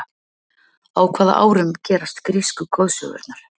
Á hvaða árum gerast grísku goðsögurnar?